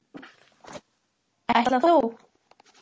Ætlar þú.